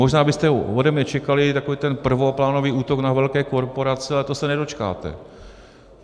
Možná byste ode mne čekali takový ten prvoplánový útok na velké korporace, ale toho se nedočkáte.